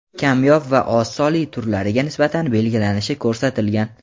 kamyob va oz sonli turlariga nisbatan belgilanishi ko‘rsatilgan.